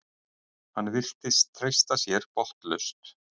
Hann virtist treysta sér botnlaust.